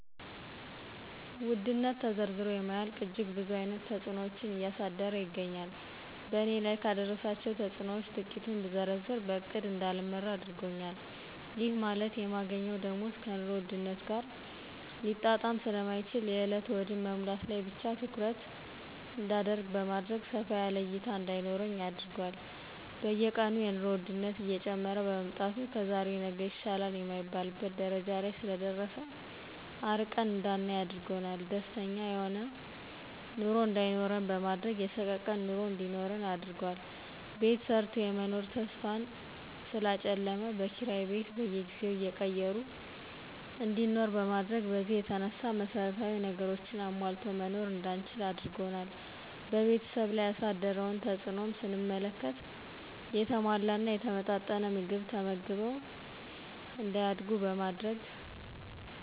ውድነት ተዘርዝሮ የማያልቅ እጅግ ብዙ አይነት ተጽኖዎችን እያደረሰ ይገኛል በእኔ ላይ ካደረሳቸው ተጽኖዎች ትቂቱን ብዘረዝር በእቅድ እዳልመራ አድርጎኛል ይህ ማለት የማገኘው ደሞዝ ከኑሮ ውድነት ጋር ሊጣጣም ስለማይችል የእለት ሆድን መሙላት ላይ ብቻ ትኩረት እዳደርግ በማድረግ ሰፋ ያለ እይታ እዳይኖረኝ አድርጓል። በየቀኑ የኑሮ ወድነት እየጨመረ በመምጣቱ ከዛሬ ነገ ይሻላል የማይባልበት ደረጃ ላይ ስለደረሰ አርቀን እዳናይ አድርጓል። ደስተኛ የሆነ ኑሮ እዳይኖረን በማድረግ የሰቀቀን ኑሮ እንዲኖረን አድርጓል። ቤት ሰርቶ የመኖር ተስፋን ስላጨለመ በኪራይ ቤት በየጊዜው እየቀየሩ እንዲኖር በማድረግ በዚህ የተነሳ መሰረታዊ ነገሮችን አሟልቶ መኖር እዳንችል አድርጓል። በቤተሰብ ላይ ያሳደረውን ተጽእኖም ስንመለከት የተሟላና የተመጣጠነ ምግብ ተመግበው እዳያድጉ በማድረግ